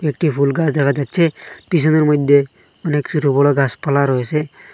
একটি ফুল গাছ দেখা যাচ্ছে পিছনের মধ্যে অনেক ছোট বড় গাছপালা রয়েছে।